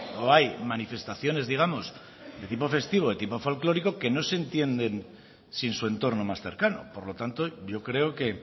o hay manifestaciones digamos de tipo festivo de tipo folclórico que no se entienden sin su entorno más cercano por lo tanto yo creo que